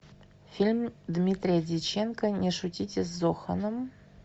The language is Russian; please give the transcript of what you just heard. фильм дмитрия дьяченко не шутите с зоханом